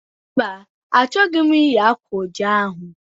Mba, achọghị m eyi akwa oji ahụ